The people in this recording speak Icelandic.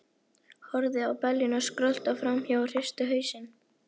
Horfði á beljurnar skrölta fram hjá og hristi hausinn.